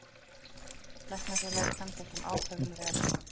Læknafélagið kann þessum ákvæðum vel.